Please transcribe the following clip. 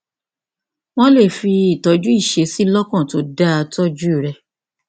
wọn lè fi ìtọjú ìṣesí lọkàn tó dáa tọjú rẹ